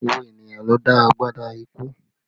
Gbogbo ènìyàn ló dá agbádá ikú